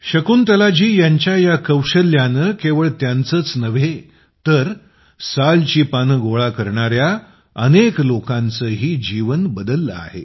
शकुंतलाजी यांच्या या कौशल्याने केवळ त्यांचेच नव्हे तर साल ची पाने गोळा करणाऱ्या अनेक लोकांचेही जीवन बदलले आहे